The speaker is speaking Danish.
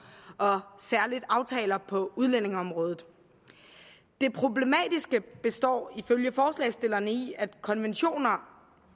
og særligt aftaler på udlændingeområdet det problematiske består ifølge forslagsstillerne i at konventioner